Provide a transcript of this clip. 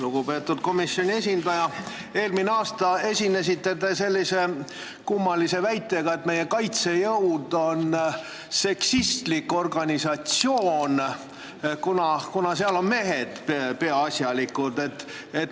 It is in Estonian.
Lugupeetud komisjoni esindaja, eelmine aasta te esinesite sellise kummalise väitega, et meie kaitsejõud on seksistlik organisatsioon, kuna seal on peaasjalikult mehed.